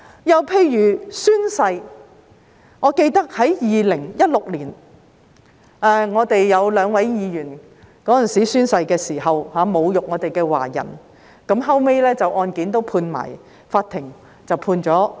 又例如宣誓，我記得在2016年，我們有兩位議員在宣誓時侮辱華人，後來法庭就有關案件判決我們勝訴。